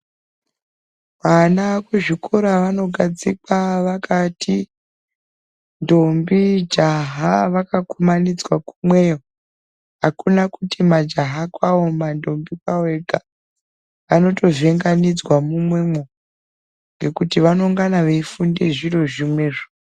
Vana kuzvikora vanogadzikwa vakati ntombi jaha vaka kumanidzwa kumweyo akuna kuti majaha kwawo mantombi kwawo ega vanotovhenganidzwa mumwe mo ngekuti vanongana veifunde zviro zvimwezvo.